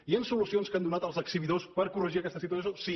hi han solucions que han donat els exhibidors per corregir aquesta situació sí